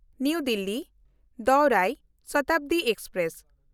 ᱱᱟᱣᱟ ᱫᱤᱞᱞᱤ–ᱫᱳᱣᱨᱟᱭ ᱥᱚᱛᱟᱵᱫᱤ ᱮᱠᱥᱯᱨᱮᱥ